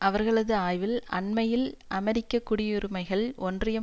அவர்களது ஆய்வு அண்மையில் அமெரிக்க குடியுரிமைகள் ஒன்றியம்